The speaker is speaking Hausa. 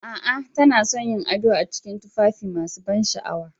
A'a, tana son yin ado a cikin tufafi masu ban sha'awa